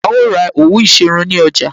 A ó ra òwú ìṣerun ní ọjà